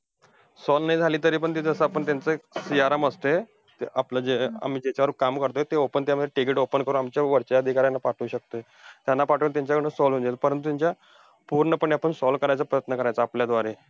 Solve नाही झाली तरी पण, ते जसं आपण त्यांचं जसं एक याला ते आपलं जे आम्ही ज्याच्यावर काम करतोय ते open त्यामुळे ticket open करून ते ते आमच्या वरच्या अधिकाऱ्यांना पाठवू शकतोय. त्यांना पाठवून त्याच्याकडनं solve होऊन जाईल, परंतु त्यांच्या पूर्णपणे आपण करायचा प्रयत्न करायचा आपल्याद्वारे.